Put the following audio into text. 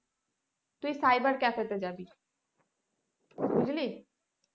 তুই cyber cafe তে যাবি বুঝলি।